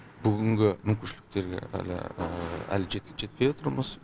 бүгінгі мүмкіншіліктерге әлі жетпей отырмыз